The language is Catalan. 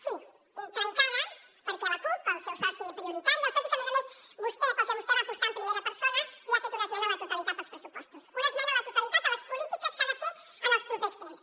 sí trencada perquè la cup el seu soci prioritari el soci pel que a més a més vostè va apostar en primera persona li ha fet una esmena a la totalitat als pressupostos una esmena a la totalitat a les polítiques que ha de fer en els propers temps